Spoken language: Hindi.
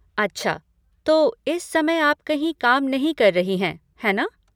अच्छा, तो इस समय आप कहीं काम नहीं कर रही हैं, है ना?